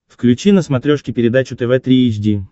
включи на смотрешке передачу тв три эйч ди